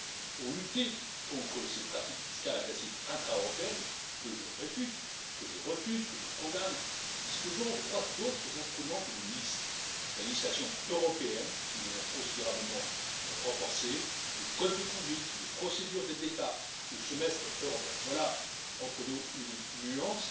Pour lutter contre ces pratiques fiscales agressives intra européennes, que je réfute, que je refuse, que je condamne, nous disposons d'autres instruments que d'une liste la législation européenne, que nous avons considérablement renforcée, le code de conduite, les procédures d'aide d'État, le Semestre européen. Entre nous, il y a une nuance,